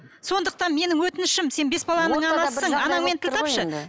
сондықтан менің өтінішім сен бес баланың анасысың анаңмен тіл тапшы